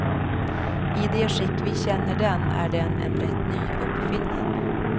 I det skick vi känner den är den en rätt ny uppfinning.